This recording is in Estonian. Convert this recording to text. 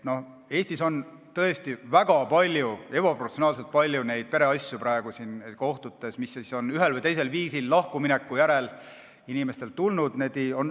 Eestis on kohtutes tõesti väga palju, ebaproportsionaalselt palju pereasju, mis on ühel või teisel viisil lahkumineku järel kohtusse jõudnud.